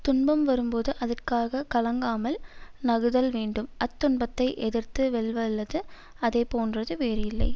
துன்பம் வரும்போது அதற்காக கலங்காமல் நகுதல் வேண்டும் அத் துன்பத்தை எதிர்த்து வெல்வல்லது அதை போன்றது வேறு இல்லை